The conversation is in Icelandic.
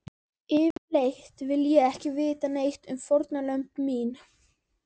Yfirleitt vil ég ekki vita neitt um fórnar lömb mín.